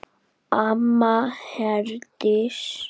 Amma Herdís.